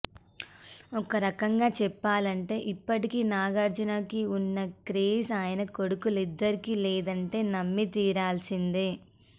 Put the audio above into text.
ఒకరకంగా చెప్పాలంటే ఇప్పటికీ నాగార్జున కి ఉన్న క్రేజ్ ఆయన కొడుకులిద్దరికి లేదంటే నమ్మి తీరాల్సిందే